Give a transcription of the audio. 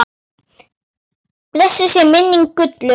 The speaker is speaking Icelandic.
Blessuð sé minning Gullu.